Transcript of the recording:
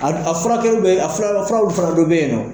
A a furakɛlii bɛ a furaraw a furaw dɔw fana bɛ yen